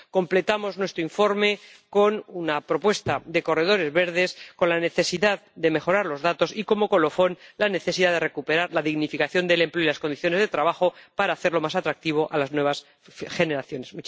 Completamos nuestro informe con una propuesta de corredores verdes, con la necesidad de mejorar los datos y, como colofón, con la necesidad de recuperar la dignificación del empleo y las condiciones de trabajo para hacerlo más atractivo para las nuevas generaciones.